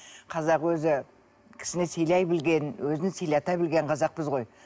қазақ өзі кісіні сыйлай білген өзін сыйлата білген қазақпыз ғой